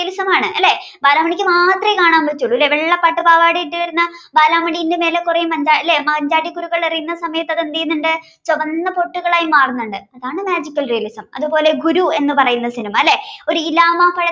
ബാർലാ മണിക്ക് മാത്രമേ കാണാൻ പറ്റുള്ളൂ അല്ലേ വെള്ള പട്ടുപാവാട ഇട്ടുവരുന്ന ബാലാമണിയുടെ മേലെ കുറെ മഞ്ചാടി ഇല്ലേ മഞ്ചാടിക്കുരുകൾ അറിയുന്ന സമയത്ത് അതെന്തുന്നുണ്ട് ചുവന്ന പൊട്ടുകളായി മാറുന്നുണ്ട് അതാണ് magical realism അതുപോലെ ഗുരു എന്ന് പറയുന്ന സിനിമ അല്ലേ